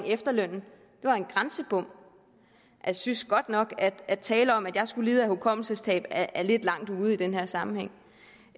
efterlønnen det var en grænsebom jeg synes godt nok at det at tale om at jeg skulle lide af hukommelsestab er lidt langt ude i den her sammenhæng